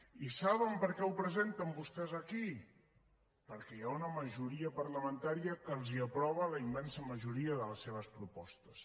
i saben per què ho presenten vostès aquí perquè hi ha una majoria parlamentària que els aprova la immensa majoria de les seves propostes